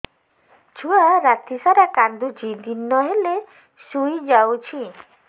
ଛୁଆ ରାତି ସାରା କାନ୍ଦୁଚି ଦିନ ହେଲେ ଶୁଇଯାଉଛି